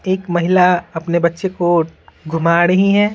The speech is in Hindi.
एक महिला अपने बच्चे को घुमा रही है।